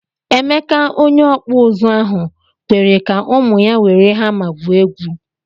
Emeka onye okpu uzu ahu kwere ka ụmụ ya were hama gwuo egwu.